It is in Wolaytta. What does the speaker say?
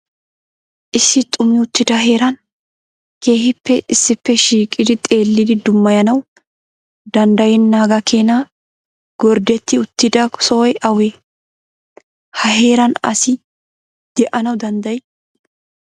Issi xumi uttida heeran keehippe issippe shiiqidi xeellidi dummayanaw danddayenaaga keena gorddeti uttida sohoy awe? Ha heeran asi de'anaw dandday?